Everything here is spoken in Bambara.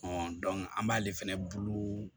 an b'ale fɛnɛ bulu